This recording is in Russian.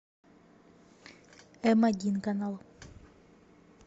эм один канал